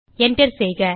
Enter செய்க